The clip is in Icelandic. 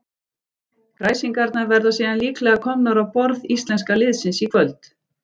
Kræsingarnar verða síðan líklega komnar á borð íslenska liðsins í kvöld.